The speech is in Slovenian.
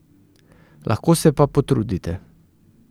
Lahko se pa potrudite.